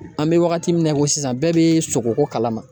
An bɛ wagati min na i ko sisan bɛɛ bɛ sogoko kalama